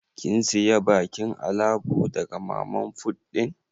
Kin siya bakin alabo daga mama fut din?